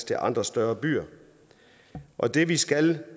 til andre større byer og det vi skal